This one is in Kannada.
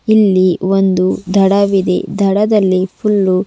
ಇಲ್ಲಿ ಒಂದು ದಡವಿದೆ ದಡದಲ್ಲಿ ಫುಲ್ಲು --